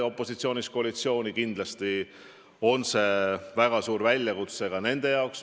Opositsioonist koalitsiooni tulnuna on see nende jaoks kindlasti väga suur väljakutse.